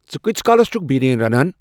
ژٕ کۭتِس کالس چُھکھ بریانی رنان ؟